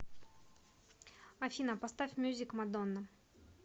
афина поставь мьюзик мадонна